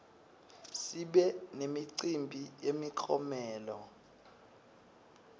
sibe nemicimbi yemiklomelo